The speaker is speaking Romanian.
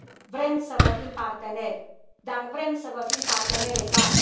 Vrem să vă fim parteneri, dar vrem să vă fim parteneri egali.